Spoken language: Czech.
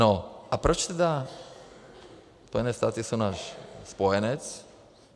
No a proč teda - Spojené státy jsou náš spojenec.